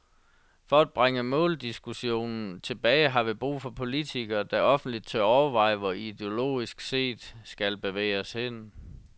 For at bringe måldiskussionen tilbage har vi brug for politikere, der offentligt tør overveje, hvor vi ideologisk set skal bevæge os hen.